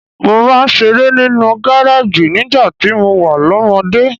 Mo máa ń ṣeré nínú gareji nígbà tí mo wà lọ́mọdé.